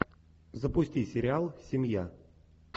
запусти сериал семья